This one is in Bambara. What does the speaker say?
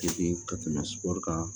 ka tɛmɛ sukɔru kan